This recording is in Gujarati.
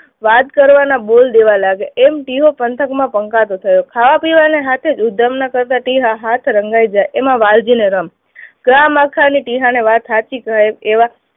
વાત કરવાનો બોલ દેવા લાગ્યા એમ ટીહો પંથકમાં પંકાતો થયો, ખાવા પીવાના હાથે ઉદ્ધમનગરમાં ટીહા હાથ રંગાઈ ગયા. એમા વાલજી નરમ. ગ્રામ આખાને ટીહાને વાત સાચી કહે એવા